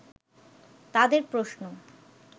তাদের প্রশ্ন